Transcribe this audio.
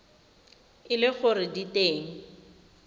e le gore di teng